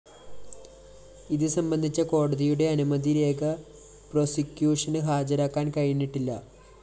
ഇത് സംബന്ധിച്ച കോടതിയുടെ അനുമതിരേഖ പ്രോസിക്യൂഷന് ഹാജരാക്കാന്‍ കഴിഞ്ഞിട്ടില്ല